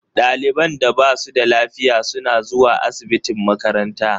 Ɗaliban da ba su da lafiya suna zuwa asibitin makaranta.